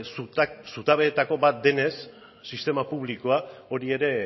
zutabeetako bat denez sistema publikoa hori ere